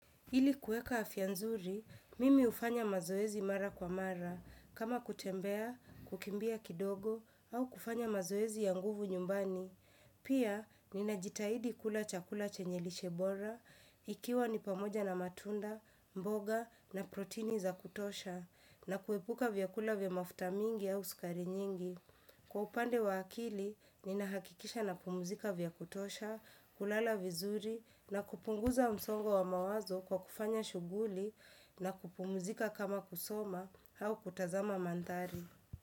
Ili kuweka afya nzuri, mimi hufanya mazoezi mara kwa mara. Kama kutembea, kukimbia kidogo, au kufanya mazoezi ya nguvu nyumbani. Pia, nimejitahidi kula chakula chenye lishebora, ikiwa ni pamoja na matunda, mboga na protini za kutosha. Na kuepuka vyakula vya mafuta mingi au sukari nyingi. Kwa upande wa akili. Ninahakikisha na pumzika vya kutosha, kulala vizuri na kupunguza msongo wa mawazo kwa kufanya shughuli na kupumzika kama kusoma au kutazama mandhari.